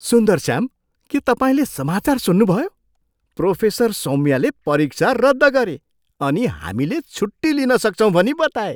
सुन्दरस्याम, के तपाईँले समाचार सुन्नुभयो? प्रोफेसर सौम्याले परीक्षा रद्द गरे अनि हामीले छुट्टी लिन सक्छौँ भनी बताए!